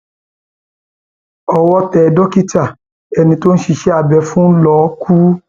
owó tẹ ayédèrú dókítà ẹni tó ṣiṣẹ abẹ fún ló kù